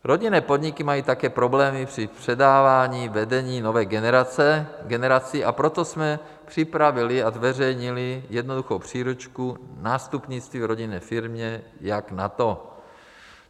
Rodinné podniky mají také problémy při předávání vedení nové generaci, a proto jsme připravili a zveřejnili jednoduchou příručku Nástupnictví v rodinné firmě, jak na to.